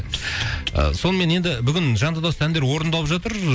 сонымен енді бүгін жанды дауыста әндер орындалып жатыр